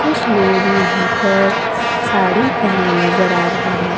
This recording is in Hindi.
कुछ लोग यहां पर साड़ी पहने नजर आ रहे हैं।